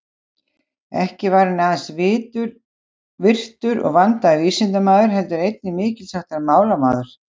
Ekki var hann aðeins virtur og vandaður vísindamaður, heldur einnig mikils háttar málamaður.